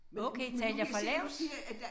Okay talte jeg for lavt?